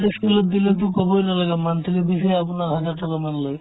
ই school ত দিলেতো ক'বই নালাগে monthly fees য়ে আপোনাৰ hundred thousand মান লয়